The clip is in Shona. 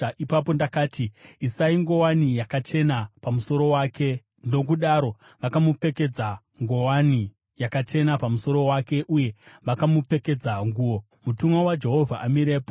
Ipapo ndakati, “Isai nguwani yakachena pamusoro wake.” Nokudaro vakamupfekedza nguwani yakachena pamusoro wake uye vakamupfekedza nguo, mutumwa waJehovha amirepo.